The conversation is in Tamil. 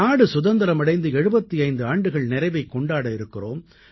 நாடு சுதந்திரம் அடைந்து 75 ஆண்டுகள் நிறைவைக் கொண்டாட இருக்கிறோம்